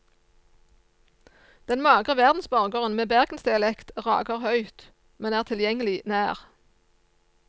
Den magre verdensborgeren med bergensdialekt rager høyt, men er tilgjengelig nær.